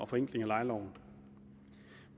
forenkling af lejeloven